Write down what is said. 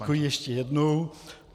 Děkuji ještě jednou.